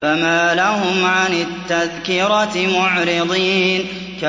فَمَا لَهُمْ عَنِ التَّذْكِرَةِ مُعْرِضِينَ